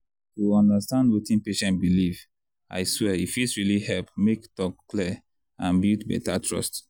to understand wetin patient believe i swear e fit really help make talk clear and build better trust.